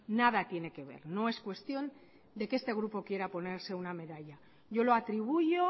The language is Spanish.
nada tiene que ver no es cuestión de que este grupo quiera ponerse una medalla yo lo atribuyo